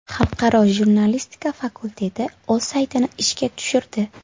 Xalqaro jurnalistika fakulteti o‘z saytini ishga tushirdi.